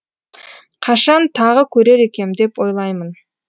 қашан тағы көрер екем деп ойлаймын